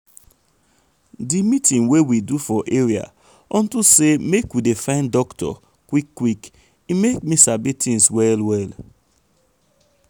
di meeting wey we do for area unto say make we dey find doctor um quick quick um e make me sabi tins well well.